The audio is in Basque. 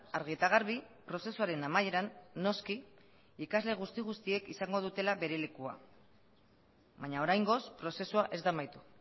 argi eta garbi prozesuaren amaieran noski ikasle guzti guztiek izango dutela bere lekua baina oraingoz prozesua ez da amaitu